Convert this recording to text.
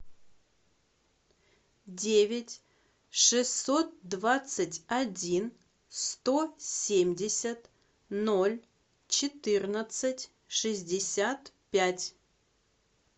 девять шестьсот двадцать один сто семьдесят ноль четырнадцать шестьдесят пять